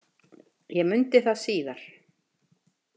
Ég mundi það síðar.